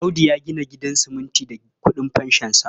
Audu ya gina gidan siminti da ƙudin fanshonsa.